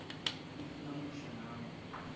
if namuhla nangu